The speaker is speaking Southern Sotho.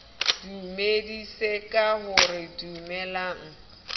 dumedise ka ho re dumelang